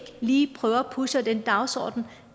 lige prøver at pushe den dagsorden